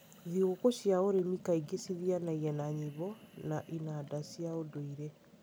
Thigũkũ cia ũrĩmi kaingĩ cithianagia na nyĩmbo na inanda cia ũndũire.